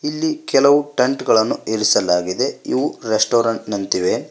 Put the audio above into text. ಇಲ್ಲಿ ಕೆಲವು ಟೆಂಟ್ ಗಳನ್ನು ಇರಿಸಲಾಗಿದೆ ಇವು ರೆಸ್ಟೋರೆಂಟ್ ನಂತಿವೆ.